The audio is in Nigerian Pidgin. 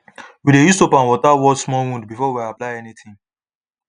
we dey use soap and water wash small wound before we apply anything